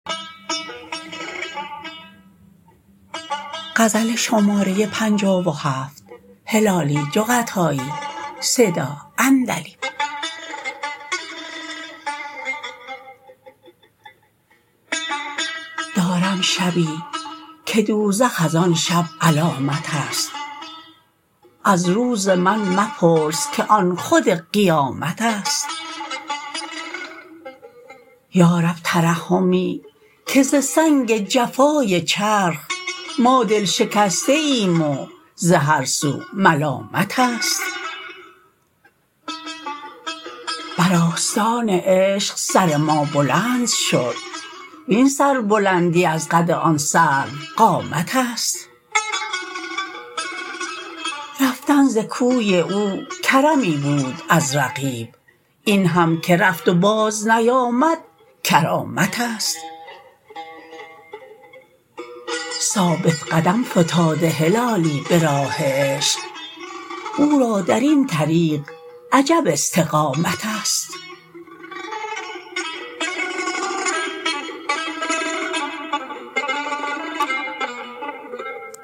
دارم شبی که دوزخ از آن شب علامتست از روز من مپرس که آن خود قیامتست یارب ترحمی که ز سنگ جفای چرخ ما دل شکسته ایم و زهر سو ملامتست بر آستان عشق سر ما بلند شد وین سر بلندی از قد آن سروقامتست رفتن ز کوی او کرمی بود از رقیب این هم که رفت و باز نیامد کرامتست ثابت قدم فتاده هلالی براه عشق او را درین طریق عجب استقامتست